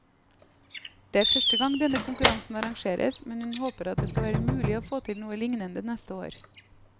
Det er første gang denne konkurransen arrangeres, men hun håper at det skal være mulig å få til noe lignende neste år.